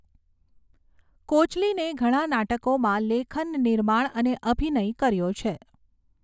કોચલિને ઘણા નાટકોમાં લેખન, નિર્માણ અને અભિનય કર્યો છે.